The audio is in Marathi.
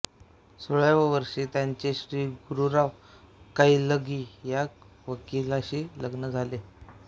सोळाव्या वर्षी त्यांचे श्री गुरुराव कौलगी या वकीलाशी लग्न झाले